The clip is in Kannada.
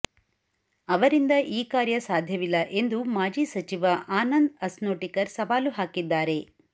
ಅವರಿಂದ ಈ ಕಾರ್ಯ ಸಾಧ್ಯವಿಲ್ಲ ಎಂದು ಮಾಜಿ ಸಚಿವ ಆನಂದ್ ಅಸ್ನೋಟಿಕರ್ ಸವಾಲು ಹಾಕಿದ್ದಾರೆ